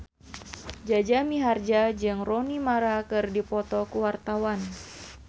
Jaja Mihardja jeung Rooney Mara keur dipoto ku wartawan